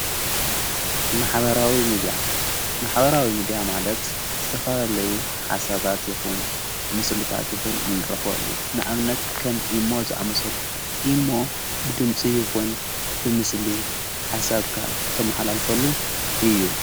ማሓበራዊ ሚድያ ማለት ዝተፈልለዩ ሓሳባት ይኹን ምስልታት ይኹን እንረኽበል እዩ ንኣብነት ከም ኢሞ ዝኣመሰሉ ኢሞ ብድምፂ ይኹን ብምስሊ ሓሳብካ ተመሃል ኣልፈሉ እዩ::